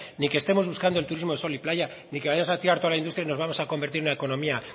ni que estemos buscando el turismo de sol y playa ni que vaya a tirar toda la industria y nos vamos a convertir en una economía